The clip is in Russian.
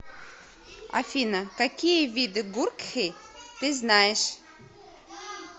афина какие виды гуркхи ты знаешь